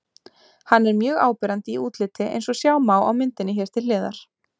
Hann er mjög áberandi í útliti eins og sjá má á myndinni hér til hliðar.